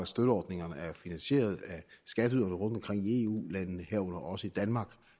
støtteordningerne er finansieret af skatteyderne rundtomkring i eu landene herunder også i danmark